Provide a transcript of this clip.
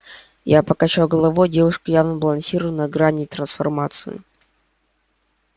я покачал головой девушка явно балансировала на грани трансформации